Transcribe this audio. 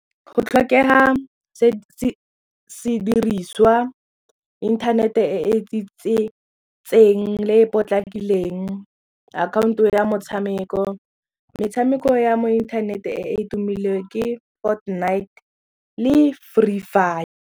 Go tlhokega sediriswa internet-e e e le e potlakileng akhaonto ya motshameko metshameko ya mo internet-e e tumileng ke Fortnite le Free Fire.